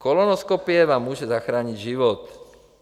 Kolonoskopie vám může zachránit život.